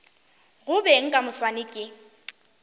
go beng ka moswane ke